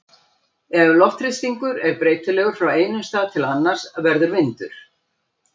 Ef loftþrýstingur er breytilegur frá einum stað til annars verður vindur.